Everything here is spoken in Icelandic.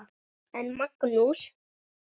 En Magnús